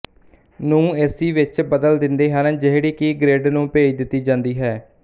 ਨੂੰ A C ਵਿੱਚ ਬਦਲ ਦਿੰਦੇ ਹਨ ਜਿਹੜੀ ਕਿ ਗਰਿੱਡ ਨੂੰ ਭੇਜ ਦਿੱਤੀ ਜਾਂਦੀ ਹੈ